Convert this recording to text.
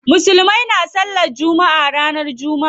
Musulmai na sallan jumma'a ranar jumma'a.